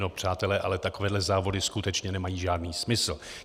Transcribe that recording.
No přátelé, ale takovéhle závody skutečně nemají žádný smysl.